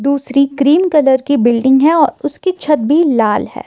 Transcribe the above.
दूसरी cream colour की building है और उसकी छत भी लाल है।